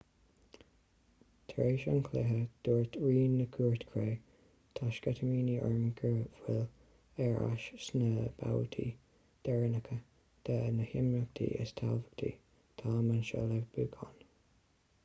tar éis an chluiche dúirt rí na cúirte cré tá sceitimíní orm go bhfuilim ar ais sna babhtaí deireanacha de na himeachtaí is tábhachtaí táim anseo le buachan